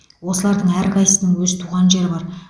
осылардың әрқайсысының өз туған жері бар